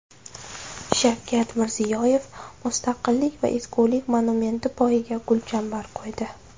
Shavkat Mirziyoyev Mustaqillik va ezgulik monumenti poyiga gulchambar qo‘ydi.